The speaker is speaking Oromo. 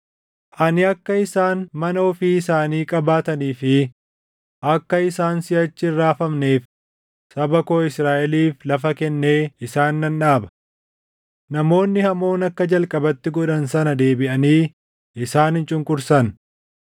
Ani akka isaan mana ofii isaanii qabaatanii fi akka isaan siʼachi hin raafamneef saba koo Israaʼeliif lafa kennee isaan nan dhaaba. Namoonni hamoon akka jalqabatti godhan sana deebiʼanii isaan hin cunqursan;